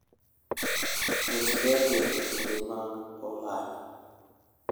Ket ndege e kinde mag ohala.